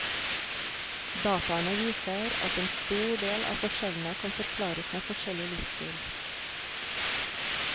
Dataene viser at en stor del av forskjellene kan forklares med forskjellig livsstil.